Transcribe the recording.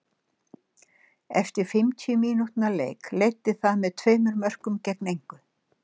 Eftir fimmtíu mínútna leik leiddi það með tveimur mörkum gegn engu.